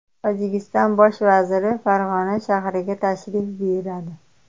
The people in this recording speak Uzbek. Tojikiston bosh vaziri Farg‘ona shahriga tashrif buyuradi.